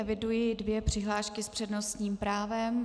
Eviduji dvě přihlášky s přednostním právem.